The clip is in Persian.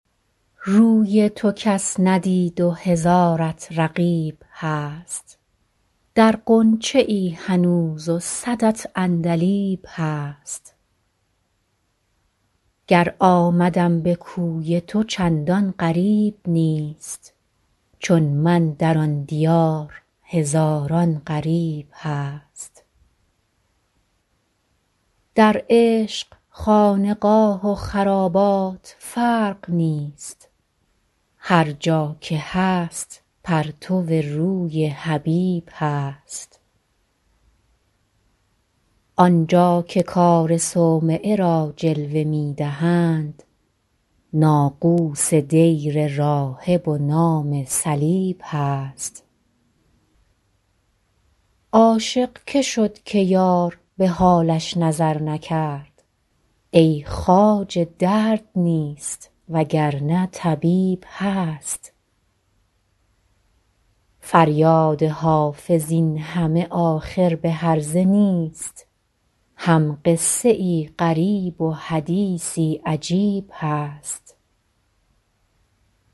روی تو کس ندید و هزارت رقیب هست در غنچه ای هنوز و صدت عندلیب هست گر آمدم به کوی تو چندان غریب نیست چون من در آن دیار هزاران غریب هست در عشق خانقاه و خرابات فرق نیست هر جا که هست پرتو روی حبیب هست آن جا که کار صومعه را جلوه می دهند ناقوس دیر راهب و نام صلیب هست عاشق که شد که یار به حالش نظر نکرد ای خواجه درد نیست وگرنه طبیب هست فریاد حافظ این همه آخر به هرزه نیست هم قصه ای غریب و حدیثی عجیب هست